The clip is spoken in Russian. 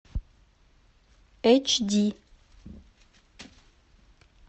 эйч ди